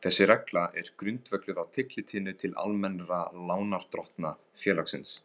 Þessi regla er grundvölluð á tillitinu til almennra lánardrottna félagsins.